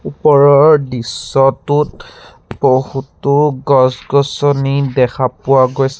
ওপৰৰ দৃশ্যটোত বহুতো গছ-গছনি দেখা পোৱা গৈছে।